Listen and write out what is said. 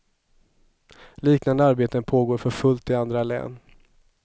Liknande arbeten pågår för fullt i andra län.